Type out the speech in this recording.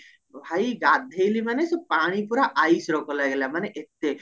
ଭାଇ ଗାଧେଇଲି ସେ ପାଣି ପୁରା iceର କମ ଲାଗିଲା ମାନେ ଏତେ